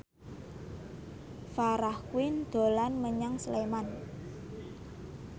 Farah Quinn dolan menyang Sleman